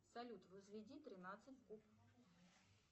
салют возведи тринадцать в куб